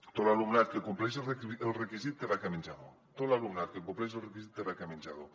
tot l’alumnat que compleix el requisit té beca menjador tot l’alumnat que compleix el requisit té beca menjador